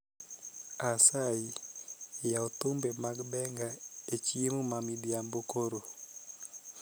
Asayi yaw thumbe mag benga echiemo mamidhiambo koro